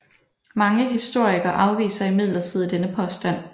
Mange historikere afviser imidlertid denne påstand